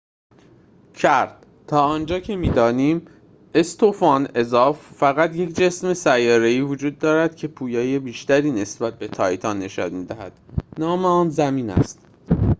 استوفان اضافi کرد: «تا آنجا که می‌دانیم، فقط یک جسم سیاره‌ای وجود دارد که پویایی بیشتری نسبت به تایتان نشان می‌دهد نام آن زمین است.»